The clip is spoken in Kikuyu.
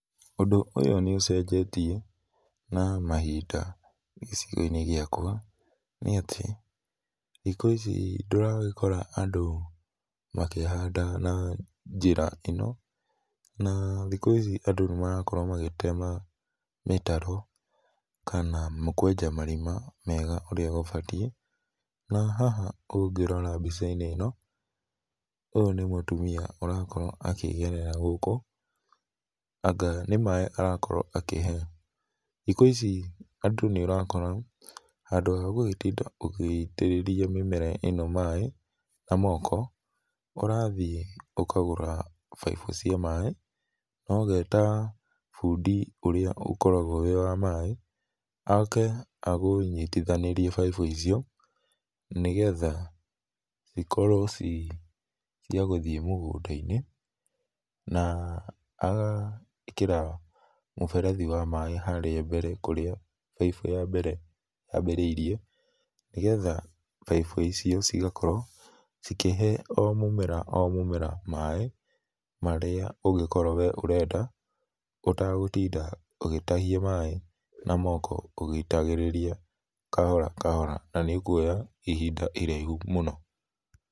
Ũndũ ũyũ nĩ ucenjetie na mahinda gĩcigo-inĩ gĩakwa nĩ atĩ, thikũ ici ndũragĩkora andũ makĩhanda na njĩra ĩno, na thikũ ici andũ nĩmarakorwo magĩtema mĩtaro kana kwenja marima mega urĩa gũbatiĩ. Na haha ũngĩrora mbica-inĩ ĩno ũyũ nĩ mũtumia ũrakorwo akĩgerera gũkũ, anga nĩ maĩ arakorwo akĩhe. Thikũ ici andũ nĩ ũrakora handũ ha gũgĩtinda ũgĩitĩrĩria mĩmera ĩno maĩ na moko, ũrathiĩ ũkagũra baibũ cia maĩ na ũgeeta bundi ũrĩa ũkoragwo e wa maĩ oke agũnyitithanúĩrie baibũ icio, nĩgetha ikorwo ci cia gũthiĩ mũgũnda-inĩ. Na agekĩra mũberethi wa maĩ harĩa mbere kũrĩa baibũ ya mbere yambĩrĩirie. Nĩgetha baibũ ici cigakorwo ikĩhe o mũmera o mũmera maĩ marĩa ũngikorwo we ũrenda, ũtagũtinda ũgĩtahia maĩ na moko ũgĩitagĩrĩria kahora kahora na nĩ ũkuoya ihinda iraihu mũno.